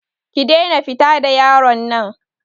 Ki daina fita da yaron nan.